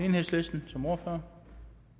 enhedslisten som ordfører